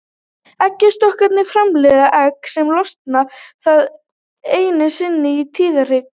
Eggjastokkarnir framleiða egg sem losna þaðan einu sinni í tíðahring.